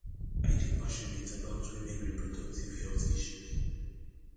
i dey passionate about women reproductive health issues